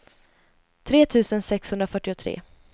tre tusen sexhundrafyrtiotre